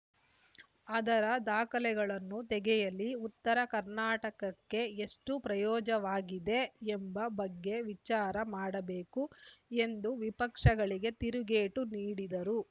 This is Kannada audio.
ಆದರ ದಾಖಲೆಗಳನ್ನು ತೆಗೆಯಲಿ ಉತ್ತರ ಕರ್ನಾಟಕಕ್ಕೆ ಎಷ್ಟುಪ್ರಯೋಜವಾಗಿದೆ ಎಂಬ ಬಗ್ಗೆ ವಿಚಾರ ಮಾಡಬೇಕು ಎಂದು ವಿಪಕ್ಷಗಳಿಗೆ ತಿರುಗೇಟು ನೀಡಿದರು